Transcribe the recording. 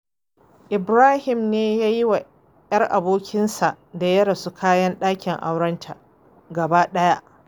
Ibrahim ne ya yiwa 'yar abokinsa da ya rasu kayan ɗakin aurenta gaba ɗaya.